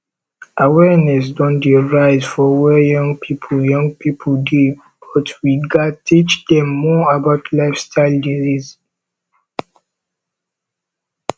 awareness don dey rise for where young pipo young pipo dey but we gats teach dem more about lifestyle diseases